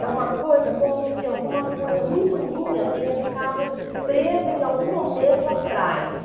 É uma coisa como se alguma coisa muito minha tenha ficado presa em algum momento atrás.